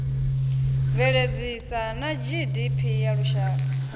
bveledzisa na gdp ya lushaka